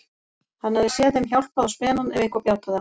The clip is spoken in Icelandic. Hann hafði séð þeim hjálpað á spenann ef eitthvað bjátaði á.